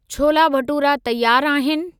छोला भटूरा तयारु आहिनि?